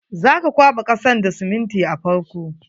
Za ka kwaɓa kasan da siminti a farko.